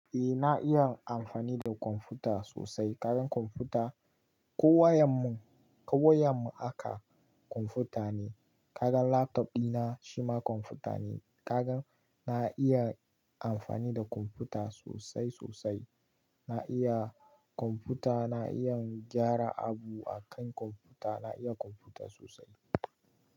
Eh na iya amfani da kwamfuta sosai. Kaga kwamfuta ko wayar mu, ko wayar mu haka kwamfuta ne. Kaga laptop dina shima kwamfuta ne. Kaga na iya amfani da kwamfuta sosai sosai. Na iya kwamfuta, na iya gyara abu akan kwamfuta. Na iya kwamfuta sosai.